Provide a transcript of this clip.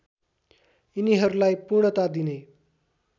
यिनीहरूलाई पूर्णता दिने